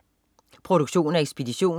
Produktion og ekspedition: